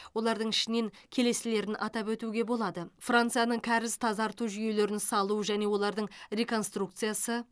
олардың ішінен келесілерін атап өтуге болады францияның кәріз тазарту жүйелерін салу және олардың реконструкциясы